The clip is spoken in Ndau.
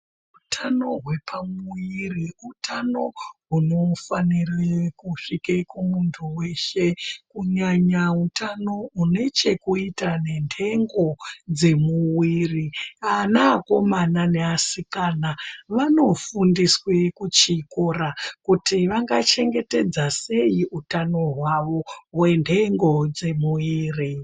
Hutano hwepuviri hutano unofanira kusvika pamuntu weshe kunyanya hutano une chekuita nendengo dzemuviri ana akomana neasikana anofundiswa kuchikora kuti vangachengetedza sei utano hwavo hwendengo dzemuviri.